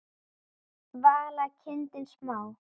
Vala: kindin smá.